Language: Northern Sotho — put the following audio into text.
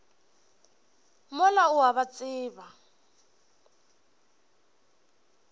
mola o a ba tseba